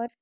और